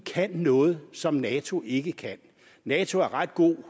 kan noget som nato ikke kan nato er ret god